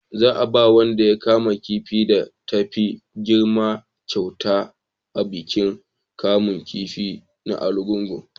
za a ba wanda ya kama kifin da ta fi girma kyauta a bikin kamun kifi na argungu